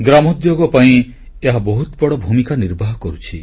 ଗ୍ରାମୋଦ୍ୟୋଗ ପାଇଁ ଏହା ବହୁତ ବଡ଼ ଭୂମିକା ନିର୍ବାହ କରୁଛି